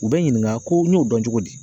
U bɛ ɲininka ko n y'o dɔn cogo di?